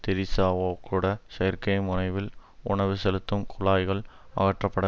தெரிசாவேகூட செயற்கை முனைவில் உணவு செலுத்தும் குழாய்கள் அகற்றப்பட